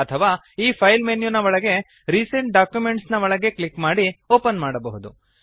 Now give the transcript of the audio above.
ಅಥವಾ ಈ file menu ನ ಒಳಗೆ ರಿಸೆಂಟ್ ಡಾಕ್ಯುಮೆಂಟ್ಸ್ ನ ಮೇಲೆ ಕ್ಲಿಕ್ ಮಾಡಿ ಓಪನ್ ಮಾಡಬಹುದು